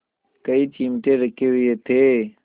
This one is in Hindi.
कई चिमटे रखे हुए थे